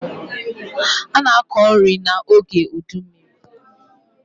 A na-akọ nri n'oge udummiri.